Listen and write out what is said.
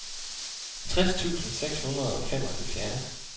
tres tusind seks hundrede og femoghalvfjerds